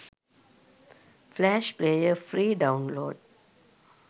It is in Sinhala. flash player free download